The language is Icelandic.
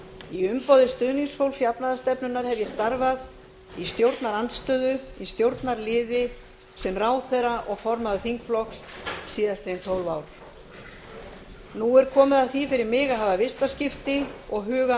í umboði stuðningsfólks jafnaðarstefnunnar hef ég starfað í stjórnarandstöðu í stjórnarliði sem ráðherra og formaður þingflokks síðastliðin tólf ár nú er komið að því fyrir mig að hafa vistaskipti og huga að